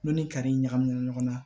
N'u ni kari ɲagaminen ɲɔgɔn na